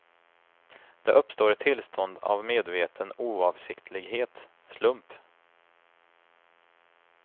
Det uppstår ett tillstånd av medveten oavsiktlighet, slump.